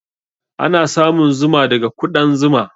Ana samun Zuma daga kuɗan Zuma.